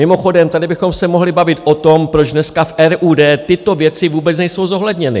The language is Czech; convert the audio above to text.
Mimochodem, tady bychom se mohli bavit o tom, proč dneska v RUD tyto věci vůbec nejsou zohledněny.